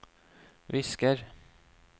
visker